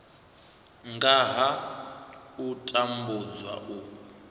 nga ha u tambudzwa u